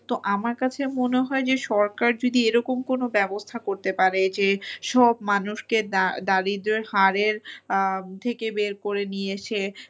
তো আমার কাছে মনে হয় যে সরকার যদি এরকম কোনো ব্যবস্থা করতে পারে যে সব মানুষকে দারিদ্র্যের হারের থেকে বের করে নিয়ে এসে